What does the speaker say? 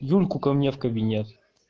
юльку ко мне в кабинет